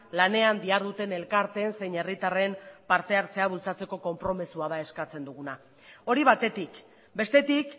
lanean diharduten elkarteen zein herritarren partehartzea bultzatzeko konpromezua da eskatzen duguna hori batetik bestetik